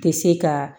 Tɛ se ka